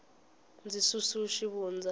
ndzi susu xivundza